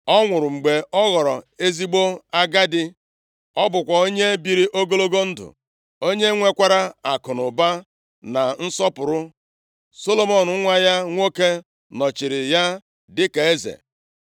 Ọ nwụrụ mgbe ọ ghọrọ ezigbo agadi. Ọ bụkwa onye biri ogologo ndụ, onye nwekwara akụnụba na nsọpụrụ. Solomọn nwa ya nwoke nọchiri ya dịka eze.